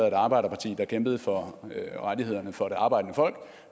et arbejderparti der kæmpede for rettighederne for det arbejdende folk